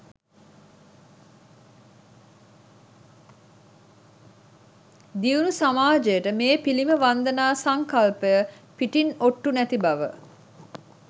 දියුණු සමාජයට මේ පිළිම වන්දනා සංකල්පය පිටින් ඔට්ටු නැති බව.